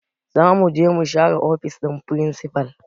Zamuje mu share ofishin firinsifal